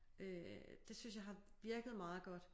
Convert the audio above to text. Øh det synes jeg har virket meget godt